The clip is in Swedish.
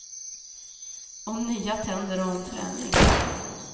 Om nya tänder och om träning.